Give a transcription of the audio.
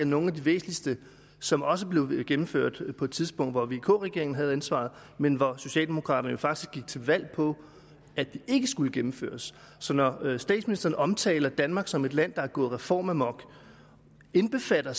nogle af de væsentligste som også blev gennemført på et tidspunkt hvor vk regeringen havde ansvaret men hvor socialdemokraterne faktisk gik til valg på at de ikke skulle gennemføres så når statsministeren omtaler danmark som et land der er gået reformamok indbefatter